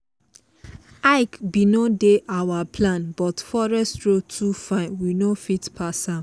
hike bin no dey our plan but forest road too fine we no fit pass am.